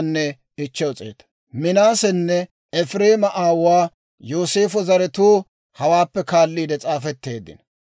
Minaasenne Efireema aawuwaa Yooseefo zaratuu hawaappe kaalliide s'aafetteeddino.